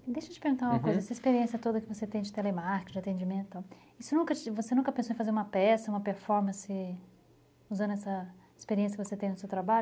Deixa eu te perguntar uma coisa, essa experiência toda que você tem de telemarketing, atendimento tal, você nunca pensou em fazer uma peça, uma performance, usando essa experiência que você tem no seu trabalho?